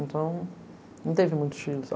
Então, não teve muitos filhos.